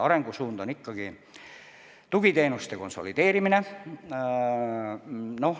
Arengusuund on ikkagi tugiteenuste konsolideerimine.